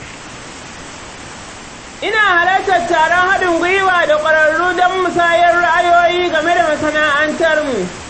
Ina halartar taron haɗin gwiwa da kwararru don musayar ra’ayoyi game da masana’antarmu.